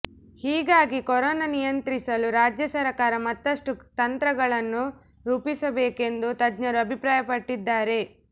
ಹೀಗಾಗಿ ಕೊರೋನಾ ನಿಯಂತ್ರಿಸಲು ರಾಜ್ಯ ಸರ್ಕಾರ ಮತ್ತಷ್ಟು ತಂತ್ರಗಳನ್ನು ರೂಪಿಸಬೇಕೆಂದು ತಜ್ಞರು ಅಭಿಪ್ರಾಯಪಟ್ಟಿದ್ದಾರೆ